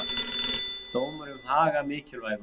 Dómur um Haga mikilvægur